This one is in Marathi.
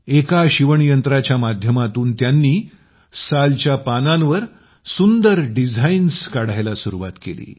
एका शिवण यंत्राच्या माध्यमातून त्यांनी सालच्या पानांवर सुंदर डिझाईन्स बनवण्यास सुरुवात केली